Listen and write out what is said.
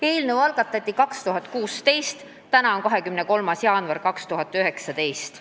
Eelnõu on algatatud aastal 2016, täna on 23. jaanuar 2019.